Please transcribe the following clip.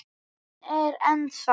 Hún er ennþá.